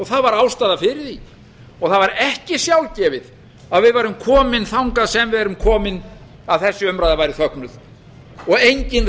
það var ástæða fyrir því það var ekki sjálfgefið að við værum komin þangað sem við erum komin að þessi umræða væri þögnuð og enginn